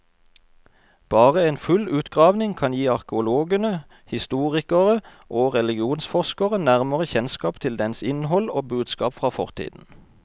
Bare en full utgravning kan gi arkeologene, historikere og religionsforskere nærmere kjennskap til dens innhold og budskap fra fortiden.